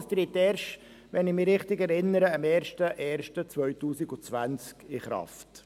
Es tritt, wenn ich mich richtig erinnere, erst am 1. Januar 2020 in Kraft.